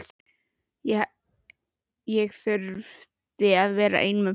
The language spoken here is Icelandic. Ég þurfti að vera einn með pabba.